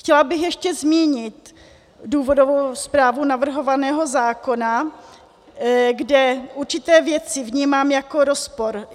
Chtěla bych ještě zmínit důvodovou zprávu navrhovaného zákona, kde určité věci vnímám jako rozpor.